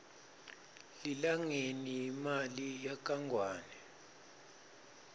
lilangeni yimali yakangwane